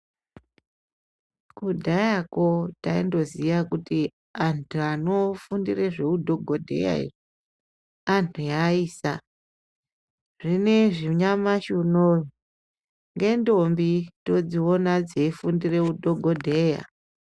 Kudharako taindoziye kuti antu anofundire zveudhokodheya eiayisa zvinezvi nyamashi unowu nendombi todzione dzeifundire udhokodheya.